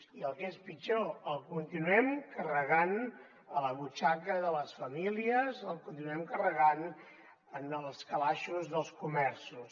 i el que és pitjor el continuem carregant a la butxaca de les famílies el continuem carregant en els calaixos dels comerços